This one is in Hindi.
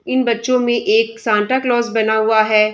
इन बच्चों में एक संता कलोज़ बना हुआ है।